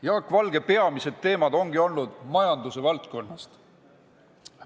Tema peamised uurimisteemad ongi olnud majandusvaldkonnast.